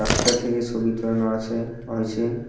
রাস্তা থেকে ছবিটা নেওয়া আছে হয়েছে।